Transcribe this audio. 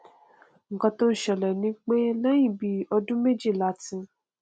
nnkan tó n ṣẹlẹ ni pé lẹhìn bíi ọdún méjì láti